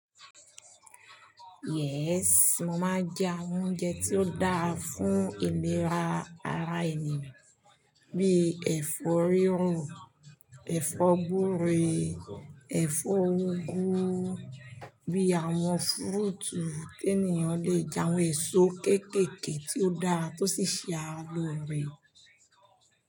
Yes, mo máa ń jẹ àwọn oúnjẹ tí ó dáa fún ìlera ara ènìyàn bíi ẹ̀fọ́ rírò, ẹ̀fọ́ gbúre, ẹ̀fọ́ úgú, bí àwọn fúrúùtù tí ènìyàn lè jẹ àwọn èso kéékèèké tí ó dáa tó sì ṣe ars lóore.